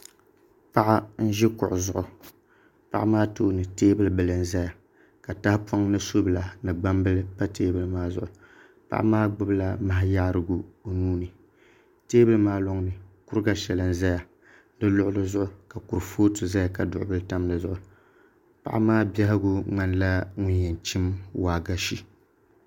Paɣa n ʒi kuɣu zuɣu paɣa maa tooni teebuli n ʒɛya ka tahapoŋ ni subila ni gbambila pa teebuli maa zuɣu paɣa maa gbubila maha yaarigu o nuuni teebuli maa loŋni kuriga shɛli n ʒɛya di luɣuli zuɣu ka kurifooti ʒɛya ka duɣu bili tam dizuɣu paɣa maa biɛhagu ŋmanila ŋum yɛn chim waagashe